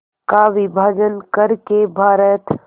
का विभाजन कर के भारत